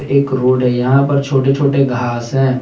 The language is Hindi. एक रोड है यहा पर छोटे छोटे घास है।